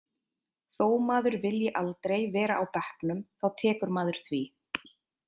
Þó maður vilji aldrei vera á bekknum þá tekur maður því.